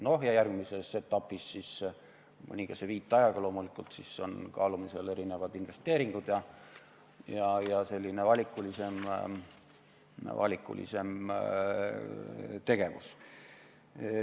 No ja järgmises etapis siis mõningase viitajaga loomulikult on kaalumisel erinevad investeeringud ja selline valikulisem tegevus.